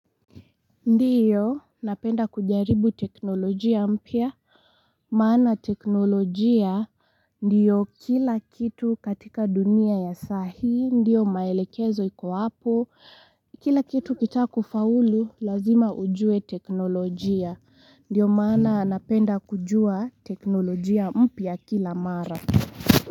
Ndiyo napenda kujaribu teknolojia mpya maana teknolojia ndiyo kila kitu katika dunia ya sahii ndiyo maelekezo iko hapo kila kitu ukitaka kufaulu lazima ujue teknolojia ndiyo maana napenda kujua teknolojia mpya kila mara.